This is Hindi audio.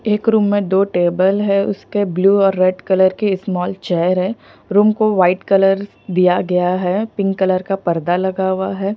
एक रूम में दो टेबल हैं उसके ब्लू और रेड कलर के स्मॉल चेयर है रूम को व्हाईट कलर दिया गया है पिंक कलर का पर्दा लगा हुआ है।